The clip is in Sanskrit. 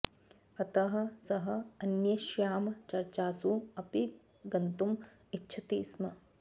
अतः सः अन्येषां चर्चासु अपि गन्तुम् इच्छति स्म